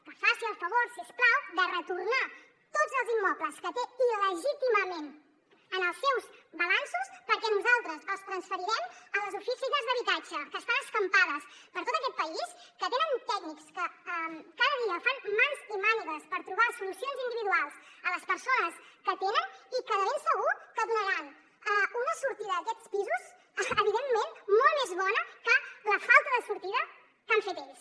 que faci el favor si us plau de retornar tots els immobles que té il·legítimament en els seus balanços perquè nosaltres els transferirem a les oficines d’habitatge que estan escampades per tot aquest país que tenen tècnics que cada dia fan mans i mànigues per trobar solucions individuals a les persones que atenen i que de ben segur que donaran una sortida a aquests pisos evidentment molt més bona que la falta de sortida que han fet ells